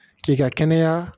K'i ka kɛnɛya